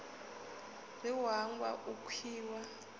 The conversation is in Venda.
ri u hangwa u khiya